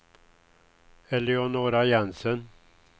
Eleonora Jensen